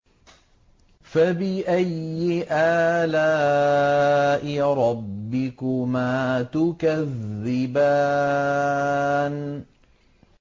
فَبِأَيِّ آلَاءِ رَبِّكُمَا تُكَذِّبَانِ